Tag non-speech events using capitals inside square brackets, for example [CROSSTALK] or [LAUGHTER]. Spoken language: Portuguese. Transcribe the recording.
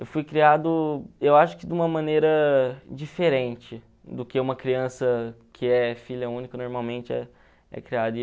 Eu fui criado, eu acho que de uma maneira diferente do que uma criança que é filha única normalmente é é [UNINTELLIGIBLE]